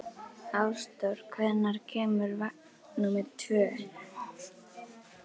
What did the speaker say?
Ásdór, hvenær kemur vagn númer fjörutíu og sjö?